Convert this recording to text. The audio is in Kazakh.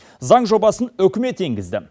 заң жобасын үкімет енгізді